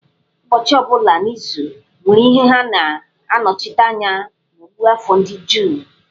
Ụbọchị ọ bụla n'izu nwere ihe ha na-anọchite anya ha n'ọ̀gụ́àfọ̀ ndị Juu.